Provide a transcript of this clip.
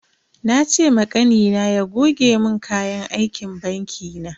Na ce ma Kanina ya goge mun kayan aikin banki na.